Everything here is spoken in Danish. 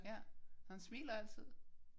Ja. Han smiler altid